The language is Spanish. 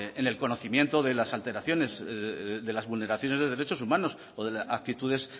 en el conocimiento de las alteraciones de las vulneraciones de derechos humanos o de actitudes